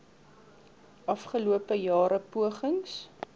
afgelope jare pogings